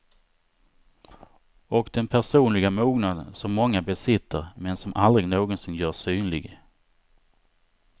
Och den personliga mognad som många besitter, men som aldrig någonsin görs synlig.